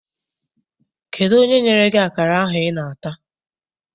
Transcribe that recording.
Kedụ onye nyere gị akara ahụ I na-ata?